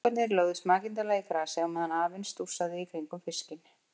Strákarnir lögðust makindalega í grasið á meðan afinn stússaði í kringum fiskinn.